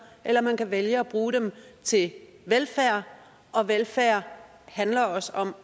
eller man kan vælge at bruge dem til velfærd og velfærd handler også om